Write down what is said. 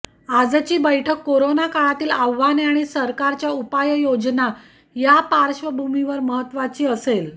आजची बैठक कोरोना काळातील आव्हाने आणि सरकारच्या उपाययोजना या पार्श्वभूमीवर महत्वाची असेल